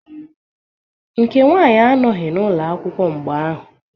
Nke nwanyị anọghị n'ụlọakwụkwọ mgbe ahụ.